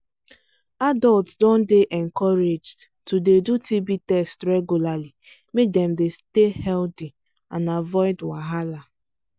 adults don dey encouraged to dey do tb test regularly make dem dem stay healthy and avoid wahala